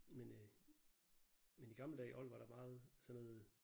Men øh men i gamle dage i old var der meget sådan noget